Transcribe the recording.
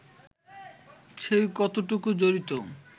সে কতটুকু জড়িত